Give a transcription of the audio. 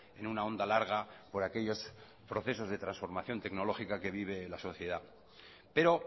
en una onda larga por aquellos procesos de transformación tecnológica que vive la sociedad pero